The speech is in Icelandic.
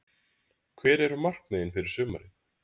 Hver eru markmiðin fyrir sumarið?